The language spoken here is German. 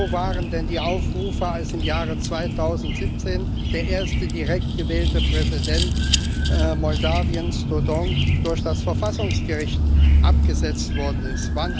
Wo waren denn die Aufrufe, als im Jahre 2017 der erste direkt gewählte Präsident Moldaus, Dodon, durch das Verfassungsgericht abgesetzt worden ist?